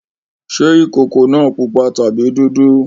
Ṣé ìkókó náà pupa tàbí dúdú?